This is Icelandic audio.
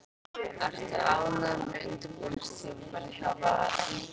Ertu ánægður með undirbúningstímabilið hjá Val?